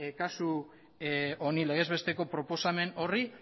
kasu honi legez besteko proposamen horri